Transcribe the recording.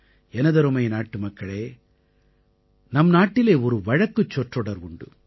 எனதருமை நாட்டுமக்களே நம் நாட்டிலே ஒரு வழக்குச் சொற்றொடர் உண்டு